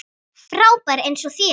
Frábær eins og þér.